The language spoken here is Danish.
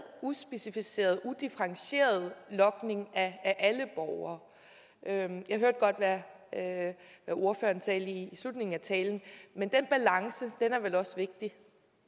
uspecificerede udifferentierede logning af alle borgere jeg hørte godt hvad ordføreren sagde i slutningen af talen men den balance er vel også vigtig